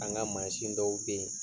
An ka mansin dɔw be ye